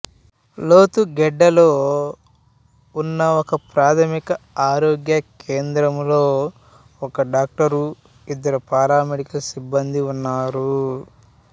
లొతుగెడ్డలో ఉన్న ఒకప్రాథమిక ఆరోగ్య కేంద్రంలో ఒక డాక్టరు ఇద్దరు పారామెడికల్ సిబ్బందీ ఉన్నారు